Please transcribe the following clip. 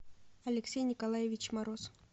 алексей николаевич мороз